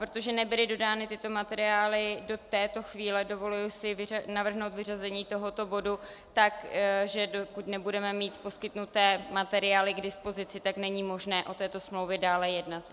Protože nebyly dodány tyto materiály do této chvíle, dovoluji si navrhnout vyřazení tohoto bodu tak, že dokud nebudeme mít poskytnuté materiály k dispozici, tak není možné o této smlouvě dále jednat.